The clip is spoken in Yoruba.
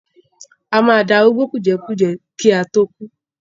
A máa darúgbó kùjẹ́kùjẹ́ kí a tó kú.